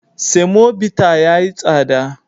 Semobita ya yi tsada.